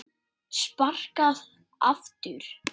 Sparkað aftur.